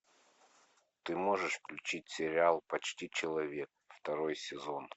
ты можешь включить сериал почти человек второй сезон